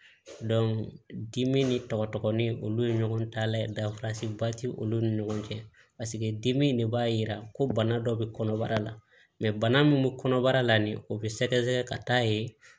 dimi ni tɔgɔ ni olu ye ɲɔgɔn ta layɛ danfaraba tɛ olu ni ɲɔgɔn cɛ paseke dimi in de b'a jira ko bana dɔ bɛ kɔnɔbara la bana min bɛ kɔnɔbara la nin o bɛ sɛgɛsɛgɛ ka taa ye